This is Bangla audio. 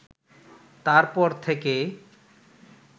তারপর থেকে